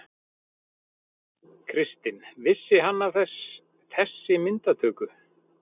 Kristinn: Vissi hann af þessi myndatöku?